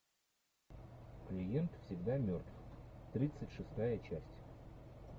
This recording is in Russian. клиент всегда мертв тридцать шестая часть